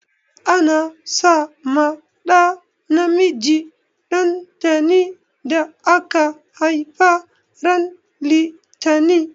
Ana sa ma ɗa namiji dantani da aka haifa ran litani.